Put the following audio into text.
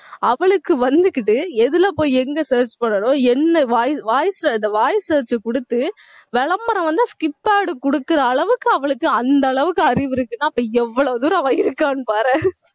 அவளுக்கு வந்துகிட்டு எதுல போய் எங்க search பண்ணனும் என்ன voice voice அ இந்த voice search கொடுத்து விளம்பரம் வந்தா skip ad கொடுக்கிற அளவுக்கு அவளுக்கு அந்த அளவுக்கு அறிவு இருக்கு. அப்போ எவ்வளவு தூரம் அவ இருக்கான்னு பாரேன்